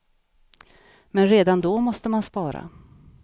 Men redan då måste man spara.